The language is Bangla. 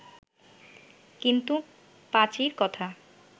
কিন্তু পাঁচীর কথা